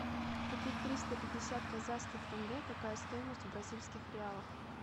купить триста пятьдесят казахских тенге какая стоимость в бразильских реалах